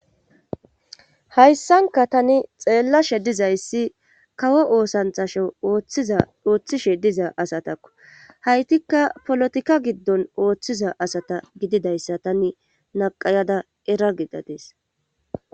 Hayssanka tani xeellashe dizayssi kawo oosanthashiza ooththishe diza asatakko haytikka polotika giddon ooththiza asata gididayssa tane naqayada era gidadees.